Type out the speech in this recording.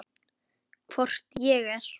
Hvort ég er.